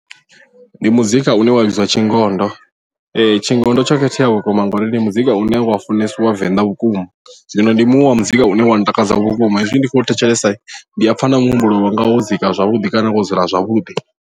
Ndi muzika une wa vhidzwa tshingondo tshingondo tsho khethea vhukuma ngauri ndi muzika une wa funesiwa venḓa vhukuma zwino ndi muṅwe wa muzika une wa ntakadza vhukuma hezwi ndi khou thetshelesa ndi a pfha na muhumbulo wanga wo dzika zwavhuḓi kana wo dzula zwavhuḓi.